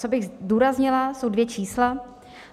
Co bych zdůraznila jsou dvě čísla.